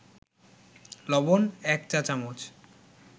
লবণ ১ চা-চামচ